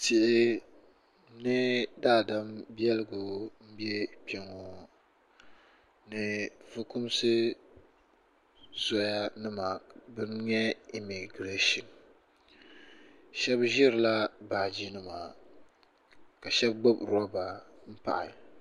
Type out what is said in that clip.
Tihi ni daadam biɛligu m be kpeŋɔ ni fukumsi soya nima bana n nyɛ imigiresa sheba ʒirila baaji nima ka sheba gbibi loba m pahi.